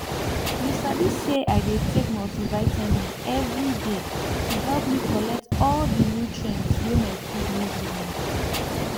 you sabi say i dey take multivitamin every day to help me collect all the nutrients wey my food no give me